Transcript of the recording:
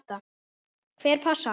Hver passar?